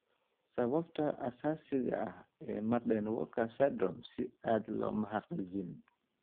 Sababta asaasiga ah ee Marden Walker syndrome si cad looma xaqiijin.